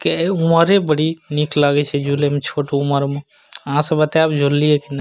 की उम्ररे बहुत निक लागे छै झूले में छोट उमर मे आहां सब बताएब झूल लिए की ने --